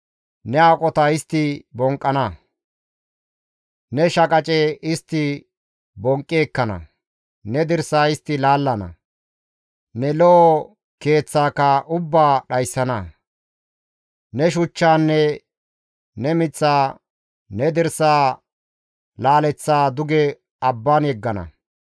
Ne aqota istti bonqqana; ne shaqace istti bonqqi ekkana; ne dirsa istti laallana; ne lo7o keeththatakka ubbaa dhayssana; ne shuchchaanne ne miththa, ne dirsa laaleththaa duge abban yeggana.